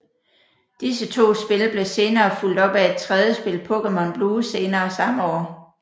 Disse to spil blev senere fulgt op af et tredje spil Pokemon Blue senere samme år